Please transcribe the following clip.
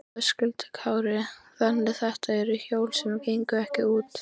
Höskuldur Kári: Þannig þetta eru hjól sem gengu ekki út?